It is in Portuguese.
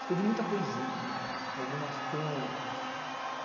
Escrevi muita poesia, né, algumas crônicas.